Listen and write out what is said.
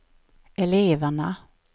eleverna